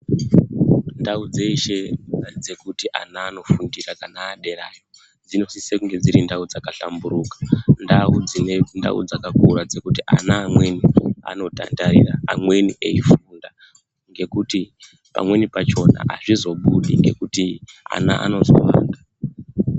Ndau dzeshe dzekuti ana vanofundira vana vedera dzunosisa kunge dziri ndau dzakahlamburuka ndau dzine ndau dzakakura kuti ana amweni anotataira eifunda ekuti pamweni pachona hazvizobudi nekuti ana anozo.